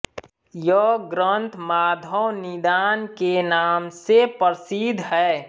यह ग्रन्थ माधव निदान के नाम से प्रसिद्ध है